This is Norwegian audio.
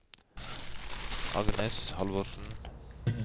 Agnes Halvorsen